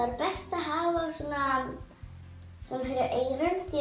best að hafa fyrir eyrun því